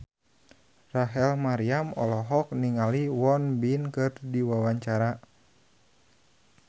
Rachel Maryam olohok ningali Won Bin keur diwawancara